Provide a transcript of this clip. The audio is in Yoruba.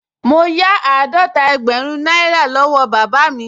Mo yá àádọ́ta ẹgbẹ̀rún náírà lọ́wọ́ bàbá mi